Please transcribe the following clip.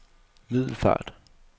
Middelfart